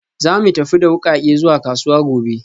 Za mu tafi da wukake zuwa kasuwa gobe